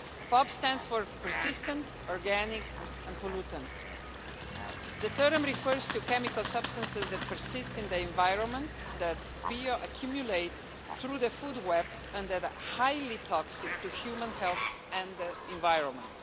POP stands for persistent, organic and pollutant. The term refers to chemical substances that persist in the environment, that bio accumulate through the food chain and that are highly toxic to human health and the environment.